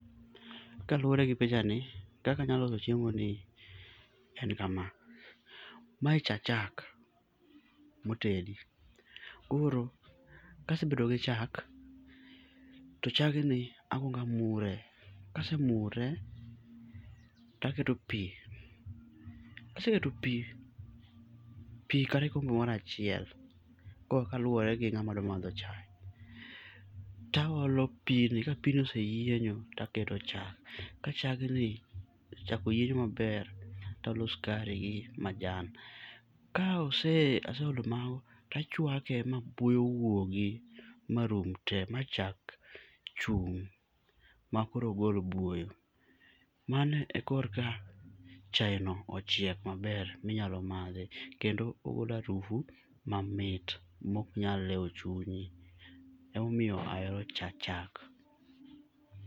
Kaluwore gi picha ni, kaka anyalo loso chiemo ni en kama. Mae cha chak motedi. Koro, kasebedo gi chak, to chagni akwongo amure. Kasemure to aketo pi. Kaseketo pi, pi kata kikombe moro achiel. Koro kaluwore gi ng'ama dwa madho chae. To aolo pini. Ka pini oseyienyo to aketo chak. Ka chagni, chak oyienyo maber to aolo sukari gi majan. Kaeolo mago to achwake ma buoyo wuogi marum te ma chak chung' makoro ok gol buoyo. Mane e kor ka chae no ochiek maber minyalo madhi kendo ogolo harufu mamit ma ok nyal lewo chunyi. Emomiyo ahero cha chak.